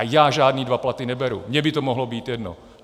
A já žádné dva platy neberu, mně by to mohlo být jedno.